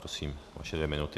Prosím, vaše dvě minuty.